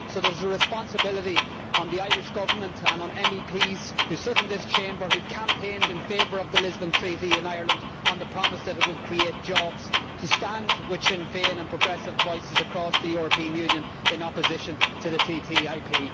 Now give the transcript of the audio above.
So there is a responsibility on the Irish Government and on MEPs who sit in this Chamber and who campaigned in favour of the Lisbon Treaty in Ireland on the promise that it would create jobs to stand with Sinn Féin and progressive voices across the European Union in opposition to the TTIP.